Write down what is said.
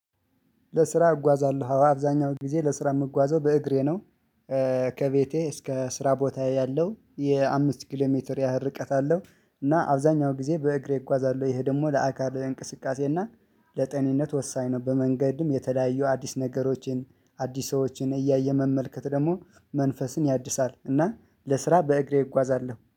ለስራ እጓዛለሁ አብዛኛው ጊዜ ለስራ የምጓዘው በእግሬ ነው። ከቤቴ እስከ ስራ ቦታዬ ያለው የአምስት ኪሎ ሜትር ያህል ርቀት አለው። እና አብዛኛው ጊዜ በእግሬ እጓዛለሁ ይሄ ደግሞ ለአካል እንቅስቃሴ እና ለጤንነት ወሳኝ ነው። በመንገድም የተለያዩ አዲስ ነገሮችን አዲስ ሰዎችን እያየ መመልከት ደግሞ መንፈስን ያድሳል። እና ለስራ በእግሬ እጓዛለሁ